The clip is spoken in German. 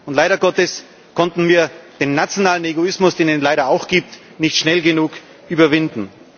Und leider Gottes konnten wir den nationalen Egoismus, den es leider auch gibt, nicht schnell genug überwinden.